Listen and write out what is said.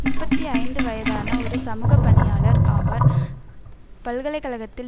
முப்பத்தி ஐந்து வயதான ஒரு சமூகப்பணியாளர் ஆவர் பல்கலை கழகத்தில்